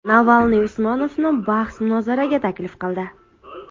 Navalniy Usmonovni bahs-munozaraga taklif qildi.